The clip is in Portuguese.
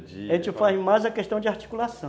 A gente faz mais a questão de articulação.